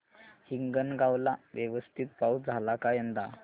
हिंगणगाव ला व्यवस्थित पाऊस झाला का यंदा